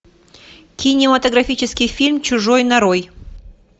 кинематографический фильм чужой нарой